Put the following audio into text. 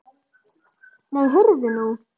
Nei, heyrðu nú.